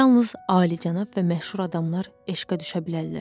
Yalnız alicənab və məşhur adamlar eşqə düşə bilərlər.